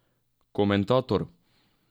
Komentator?